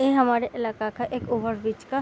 ये हमारे इलाका का एक ओवरब्रिज का --